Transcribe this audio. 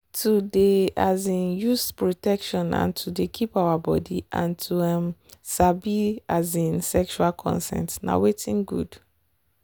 to dey um use protection and to dey keep our body and to um sabi um sexual consent na watin good.